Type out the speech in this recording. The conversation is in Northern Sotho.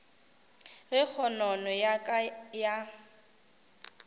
ge kgonono ya ka ya